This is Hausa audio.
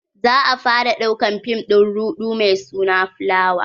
za'a fara ɗaukan fim din ruɗu mai suna fulawa.